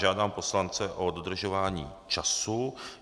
Žádám poslance o dodržování času.